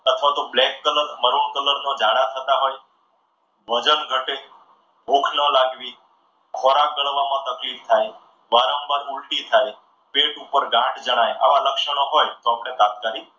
અથવા તો black color maroon color માં જાડા થતા હોય, વજન ઘટે, ભૂખ લાગી, ખોરાક દળવામાં તકલીફ થાય, વારંવાર ઊલટી થાય, પેટ ઉપર ગાંઠ જણાય, આવા લક્ષણો હોય તો આપણે તાત્કાલિક